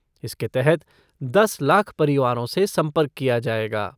इसके तहत दस लाख परिवारों से संपर्क किया जाएगा।